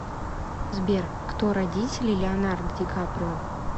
сбер кто родители леонардо ди каприо